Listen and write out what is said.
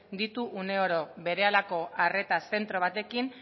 ditu uneoro berehalako arretaz zentro batekin